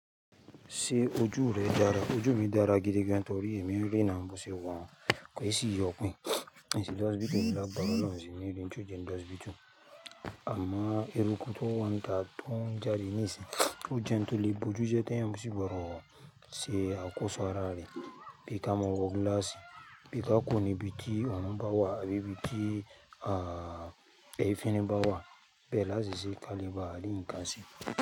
Ṣé ojú rẹ dára? Ojú mi dára gidi gan, torí èmi ń ríran, bó ṣe wà hún, kò í sì yo'pin. Ṣé gbogbo ẹbí rẹ wà pẹ̀lú ọ̀ún níbi tí ó ń jẹ n dé hospita? Amọ́, ẹ̀rù kún tó wọn tà tó ń jáde níìsín. Ó jẹ́ ń to lé bojú jẹ́ tẹ́ ẹ̀yin bó ṣe bá wọ̀ ọ́, ṣé akòṣọ́ ara rẹ, bí ka mọ́wọ́ gíláàsì, bí ka kuró nibíi tí ọ̀nà bá wà, abíi bíi tí, à, ẹyín fi ní bá wà, bẹ́ẹ̀ la ṣe ṣé kalẹ̀ bá à rí nkan se.